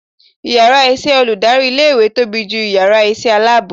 ìyára iṣẹ olùdarí ilé ìwé tobí jú ìyára iṣẹ alabọ